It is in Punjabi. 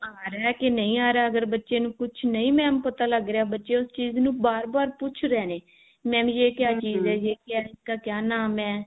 ਆ ਰਿਹਾ ਹੈ ਕਿ ਨਹੀ ਆ ਰਿਹਾ ਬੱਚੇ ਨੂੰ ਕੁਛ ਨਹੀ mam ਪਤਾ ਲੱਗ ਰਿਹਾ ਬੱਚੇ ਉਸ ਚੀਜ਼ ਨੂੰ ਬਾਰ ਬਾਰ ਪੁੱਛ ਰਹੇ ਨੇ mam ਇਸ ਕਾ ਕਿਆ ਨਾਮ ਹੈ